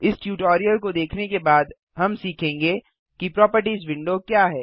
इस ट्यूटोरियल को देखने के बाद हम सीखेंगे कि प्रोपर्टिज विंडो क्या है